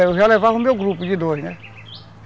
Eu já levava o meu grupo de dois, né?